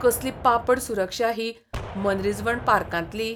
कसली पापड सुरक्षा ही मनरिजवण पार्कांतली!